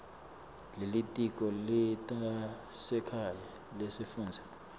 lelitiko letasekhaya lesifundza